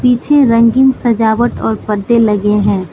पीछे रंगीन सजावट और पर्दे लगे हैं।